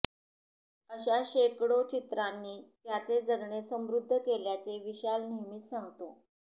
अशा शेकडो चित्रांनी त्याचे जगणे समृद्ध केल्याचे विशाल नेहमीच सांगतो